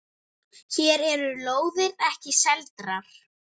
Hér eru lóðir ekki seldar.